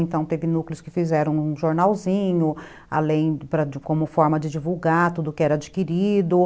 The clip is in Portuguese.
Então, teve núcleos que fizeram um jornalzinho, além de como forma de divulgar tudo o que era adquirido.